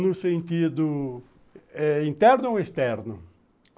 No sentido interno ou externo?